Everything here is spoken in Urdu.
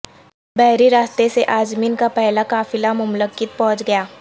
بحری راستے سے عازمین کا پہلا قافلہ مملکت پہنچ گیا